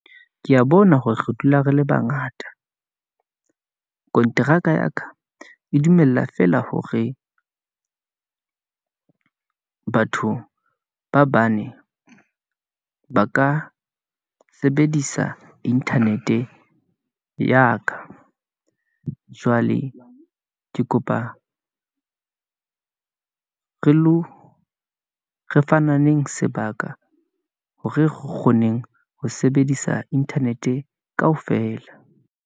Kea bona hore re dula re le bangata . Konteraka ya ka e dumella feela hore batho ba bane , ba ka sebedisa internet-e ya ka, jwale ke kopa re lo re fananeng sebaka, hore kgoneng ho sebedisa internet-e kaofela.